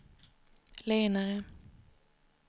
lenare